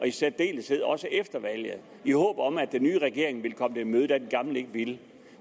i særdeleshed efter valget i håb om at den nye regering ville komme dem i møde da den gamle ikke ville